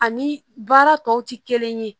Ani baara tɔw tɛ kelen ye